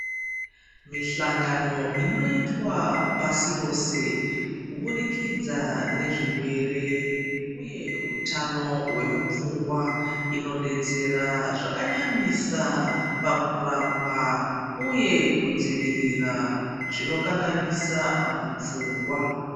Mihlangano inoitwa pasi rose kuburikidza nezvirwere uye hutano hwemupfungwa Zvino detsera zvakanyanyisa pakurapwa uye kudzivirira zvinokanganisa mupfungwa.